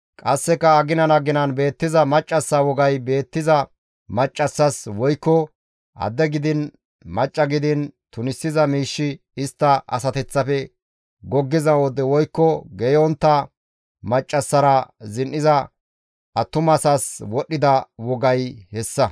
qasseka aginan aginan beettiza maccassa wogay beettiza maccassas woykko adde gidiin macca gidiin tunisiza miishshi istta asateththafe goggiza wode woykko geeyontta maccassara zin7iza attumasaas wodhdhida wogay hessa.